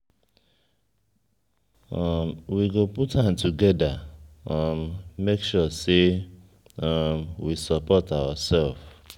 we go put hand together um make sure sey um we support oursef.